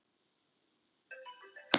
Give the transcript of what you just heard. Óþarfi að gleyma henni!